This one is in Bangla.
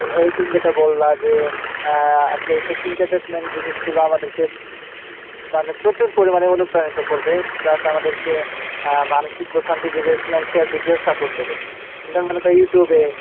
ওই তুমি যেটা বললা যে আহ আসলে এইসব entertainment জিনিস গুলা আমাদেরকে মানে প্রচুর পরিমাণে অনুপ্রাণিত করবে plus আমাদেরকে আহ মানসিক financial দিক দিয়েও support দিবে YouTube এ,